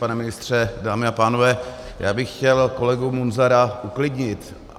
Pane ministře, dámy a pánové, já bych chtěl kolegu Munzara uklidnit.